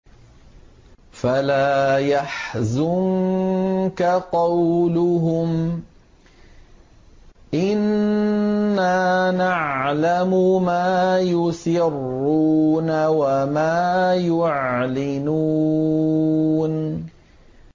فَلَا يَحْزُنكَ قَوْلُهُمْ ۘ إِنَّا نَعْلَمُ مَا يُسِرُّونَ وَمَا يُعْلِنُونَ